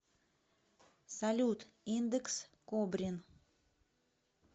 салют индекс кобрин